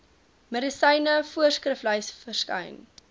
medisyne voorskriflys verskyn